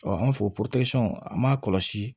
an fɛ an m'a kɔlɔsi